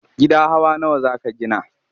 Gida hawa nawa za ka gina?